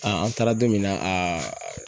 an taara don min na